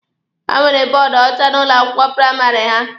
Ha nwere bọọdụ ọcha n'ụlọ akwụkwọ praịmarị ha.